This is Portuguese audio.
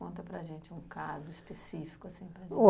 Conta para gente um caso específico assim